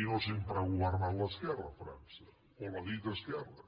i no sempre ha governat l’esquerra a frança o la dita esquerra